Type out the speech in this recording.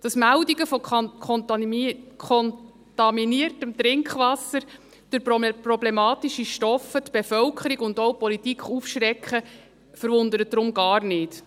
Dass Meldungen von kontaminiertem Trinkwasser durch problematische Stoffe die Bevölkerung und auch die Politik aufschrecken, verwundert daher gar nicht.